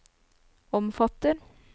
omfatter